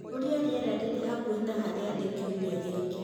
ũrĩa rĩera rĩrĩ hakuhĩ na harĩa ndĩ kiumia gĩkĩ